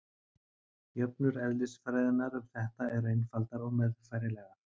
jöfnur eðlisfræðinnar um þetta eru einfaldar og meðfærilegar